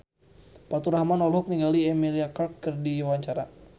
Faturrahman olohok ningali Emilia Clarke keur diwawancara